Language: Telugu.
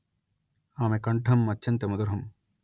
అమె కంఠం అత్యంత మధురం